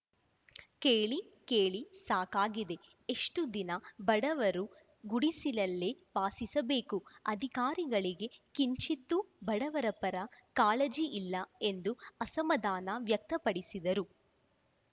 ಕೇಳಿ ಕೇಳಿ ಸಾಕಾಗಿದೆ ಎಷ್ಟುದಿನ ಬಡವರು ಗುಡಿಸಿಲಲ್ಲೇ ವಾಸಿಸಬೇಕು ಅಧಿಕಾರಿಗಳಿಗೆ ಕಿಂಚಿತ್ತೂ ಬಡವರ ಪರ ಕಾಳಜಿ ಇಲ್ಲ ಎಂದು ಅಸಮಾಧಾನ ವ್ಯಕ್ತಪಡಿಸಿದರು